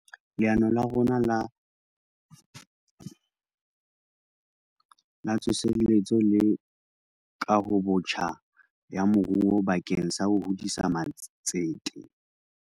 Leano la rona La Tsoseletso le Kahobotjha ya Moruo bakeng sa ho hodisa matsete.